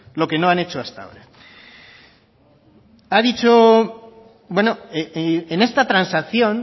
lo que no han hecho hasta ahora en esta transacción